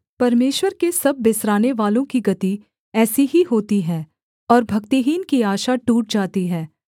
परमेश्वर के सब बिसरानेवालों की गति ऐसी ही होती है और भक्तिहीन की आशा टूट जाती है